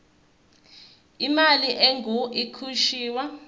imali engur ikhishwa